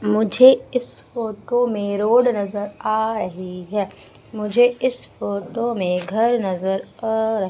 मुझे इस फोटो में रोड नजर आ रही है मुझे इस फोटो में घर नजर आ--